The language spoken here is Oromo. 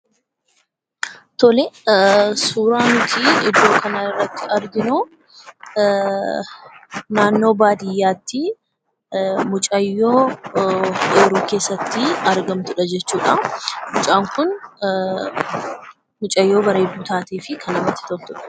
Tolee; suuraa nuti iddoo kana irratti arginuu, naannoo baadiyyaatti mucaayoo oyiruu keessatti argamtuudha jechuudha. Mucaan kun bareedduu kan taateefi kan namatti toltuudha.